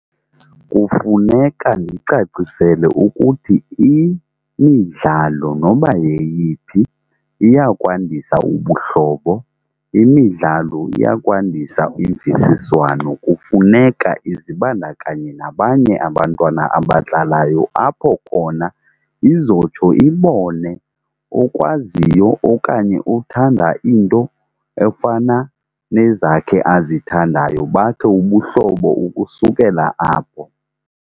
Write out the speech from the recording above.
Kufuneka ndiyicacisele ukuthi imidlalo noba yeyiphi iyakwandisa ubuhlobo. Imidlalo iya kwandisa imvisiswano, kufuneka izibandakanye nabanye abantwana abadlalayo apho khona izotsho ibone okwaziyo okanye othanda iinto efana nezakhe azithandayo bakhe ubuhlobo ukusukela apho.